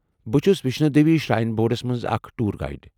بہٕ چھٗس Vaishno Devi shrine boards منٛز اكھ ٹوُر گائیڈ ۔